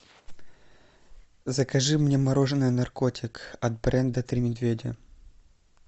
закажи мне мороженое наркотик от бренда три медведя